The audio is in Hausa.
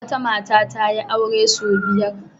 Wata mata ta yi aure sau biyar.